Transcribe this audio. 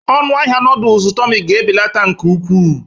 Ọnụ ahịa noodles Tummy ga-ebelata nke ukwuu